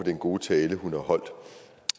den gode tale hun har holdt